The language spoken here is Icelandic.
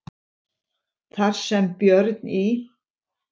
Þar sem Björn í